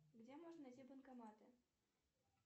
где можно найти банкоматы